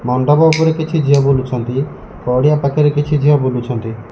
ମଣ୍ଡପ ଉପରେ କିଛି ଝିଅ ବୁଲୁଛନ୍ତି ପଡ଼ିଆ ପାଖରେ କିଛି ଝିଅ ବୁଲୁଛନ୍ତି।